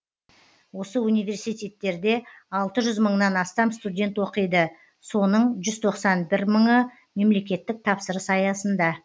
осы университеттерде алты жүз мыңнан астам студент оқиды соның жүз тоқсан бір мыңы мемлекеттік тапсырыс аясында